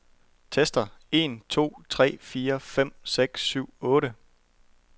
Tester en to tre fire fem seks syv otte.